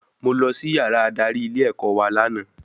Mo lọ sí yàrá adarí ilé ẹ̀kọ́ wa lànà